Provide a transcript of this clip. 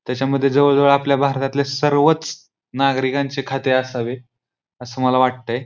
त्याच्या मध्ये जवळ जवळ आपल्या भारतातले सर्वचं नागरिकांचे खाते असावे असे मला वाटतंय.